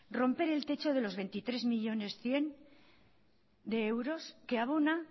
romper el techo de los veintitrés millónes cien mil que abona